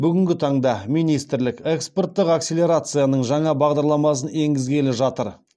бүгінгі таңда министрлік экспорттық акселерацияның жаңа бағдарламасын енгізгелі жатыр